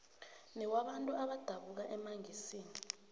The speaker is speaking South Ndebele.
newabantu abadabuka emangisini